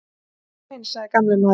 Friðrik minn sagði gamli maðurinn.